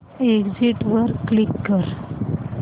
exit वर click कर